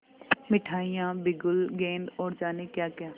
मिठाइयाँ बिगुल गेंद और जाने क्याक्या